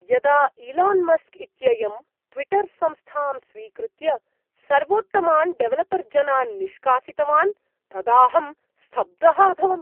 यदा Elon Musk इत्ययं Twitter संस्थां स्वीकृत्य सर्वोत्तमान्डेवलपर्जनान् निष्कासितवान् तदाहं स्तब्धः अभवम्।